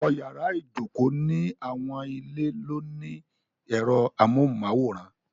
Ọ̀pọ̀lọ́pọ̀ yàrá ìjokòó ni àwọn ilé ló ní ẹ̀rọ amóhùnmáwòrán.